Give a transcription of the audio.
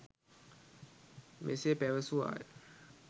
මෙසේ පැවසුවාය.